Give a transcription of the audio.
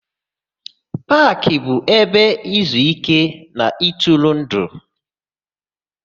Paakị bụ ebe izuíké na ịtụrụndụ.